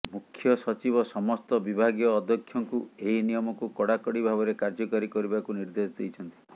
ମୁଖ୍ୟ ସଚିବ ସମସ୍ତ ବିଭାଗୀୟ ଅଧ୍ୟକ୍ଷଙ୍କୁ ଏହି ନିୟମକୁ କଡାକଡି ଭାବରେ କାର୍ଯ୍ୟକାରୀ କରିବାକୁ ନିର୍ଦ୍ଦେଶ ଦେଇଛନ୍ତି